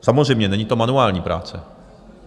Samozřejmě, není to manuální práce.